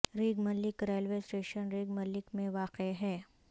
ریگ ملک railway station ریگ ملک میں واقع ہے